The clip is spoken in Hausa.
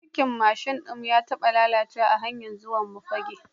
Birkin mashin ɗin mu ya taba lalacewa a hanyar zuwa Fagge.